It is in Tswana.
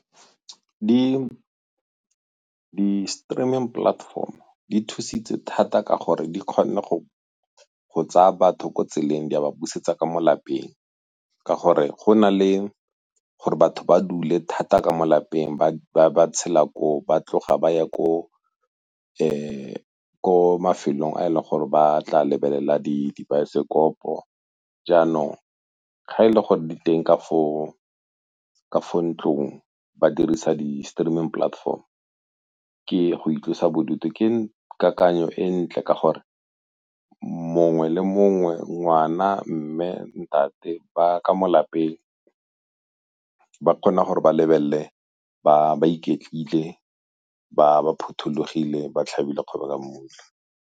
Di-streaming platform-o di thusitse thata ka gore di kgonne go tsaya batho ko tseleng di a ba busetsa ka mo lapeng. Ka gore go na le gore batho ba dule thata ka mo lapeng ba tshela koo, ba tloga ba ya ko mafelong a e leng gore ba tla lebelela dibaesekopo. Jaanong ga e le gore di teng ka foo, ka fo ntlong ba dirisa di-streaming platform ke go itlosa bodutu ke kakanyo e ntle ka gore mongwe le mongwe, ngwana, mme, ntate ba ka mo lapeng ba kgona gore ba lebelele ba ba iketlile ba phuthologile, ba tlhabile ka mmutla.